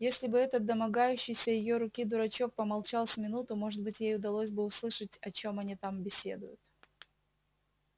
если бы этот домогающийся её руки дурачок помолчал с минуту может быть ей удалось бы услышать о чем они там беседуют